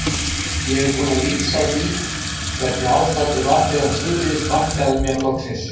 Ég er búinn að lýsa því hvernig ástandið var þegar Þuríður sparkaði mér loksins.